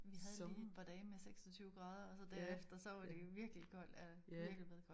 Vi havde lige et par dage med 26 grader og så derefter så var det jo virkelig koldt øh virkelig blevet gråt